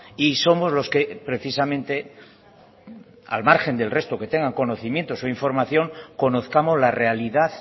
y somos los que precisamente al margen del resto que tengan conocimientos o información conozcamos la realidad